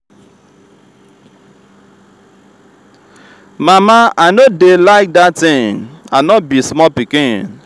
mama i no dey like dat thing. i no be small pikin